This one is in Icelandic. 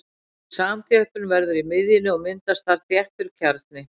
Samþjöppun verður í miðjunni og myndast þar þéttur kjarni.